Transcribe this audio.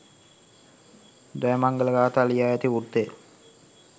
ජයමංගල ගාථා ලියා ඇති වෘත්තය